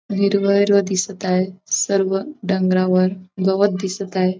हिरवं हिरवं दिसत आहे सर्व डोंगरावर गवत दिसत आहे.